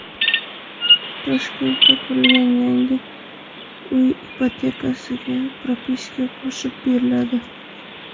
Toshkentda qurilgan yangi uy ipotekasiga propiska qo‘shib beriladi.